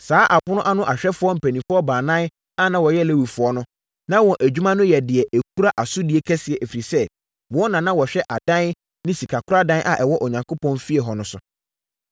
Saa apono ano ahwɛfoɔ mpanimfoɔ baanan a na wɔyɛ Lewifoɔ no, na wɔn adwuma no yɛ deɛ ɛkura asodie kɛseɛ, ɛfiri sɛ, wɔn na na wɔhwɛ adan ne sikakoradan a ɛwɔ Onyankopɔn fie hɔ no so.